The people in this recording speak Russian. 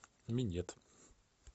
минет